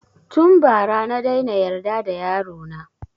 Tun ba ra na daina yarda da yaro na